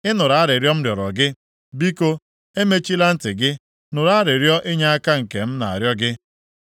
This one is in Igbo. Ị nụrụ arịrịọ m rịọrọ gị, “Biko, emechila ntị gị. Nụrụ arịrịọ inyeaka nke m na-arịọ gị.”